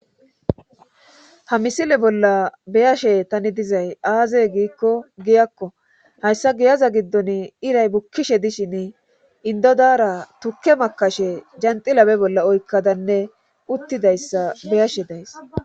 ha misile bolla beyashe tani dizay aazey giikko giyakko hayssa giyaza giddon iray bukkishe dishin indodara tukke makashe janxilabe bolla oykkadanne uttidayssa beyashe days